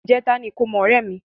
Ìjẹ́ta ní ìkómọ ọ̀rẹ́ mi.